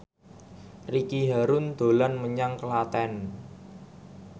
Ricky Harun dolan menyang Klaten